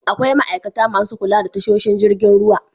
Akwai ma'aikata masu kula da tasoshin jirgin ruwa.